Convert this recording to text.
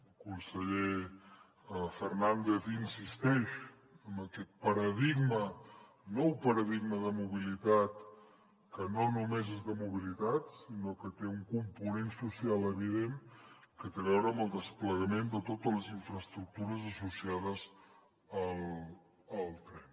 el conseller fernàndez insisteix en aquest paradigma nou paradigma de mobilitat que no només és de mobilitat sinó que té un component social evident que té a veure amb el desplegament de totes les infraestructures associades al tren